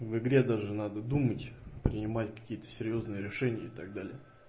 в игре даже надо думать принимать какие-то серьёзные решения и так далее